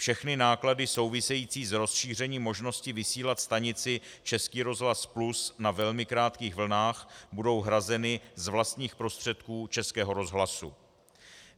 Všechny náklady související s rozšířením možnosti vysílat stanici Český rozhlas Plus na velmi krátkých vlnách budou hrazeny z vlastních prostředků Českého rozhlasu.